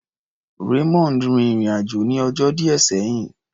Raymond rin ìrìn-àjò ní ọjọ́ díẹ̀ sẹ́yìn.